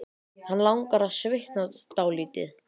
Hann langar til að svitna dálítið.